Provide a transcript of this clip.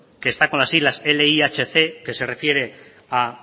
que está con las siglas lihc que se refiere a